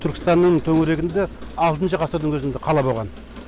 түркістанның төңірегінде алтыншы ғасырдың өзінде қала болған